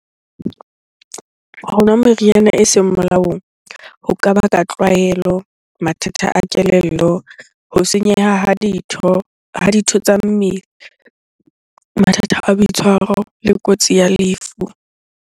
Ho nwa meriana eseng molaong ho ka baka tlwaelo, mathata a kelello, ho senyeha ha ditho, ha ditho tsa mmele, mathata a boitshwaro le kotsi ya lefu.